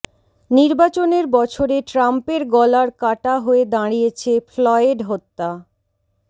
নির্বাচনের বছরে ট্রাম্পের গলার কাটা হয়ে দাঁড়িয়েছে ফ্লয়েড হত্যা